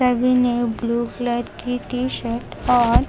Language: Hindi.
केबिन है ब्लू कलर की टी शर्ट और--